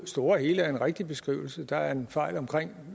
store hele er en rigtig beskrivelse der er en fejl omkring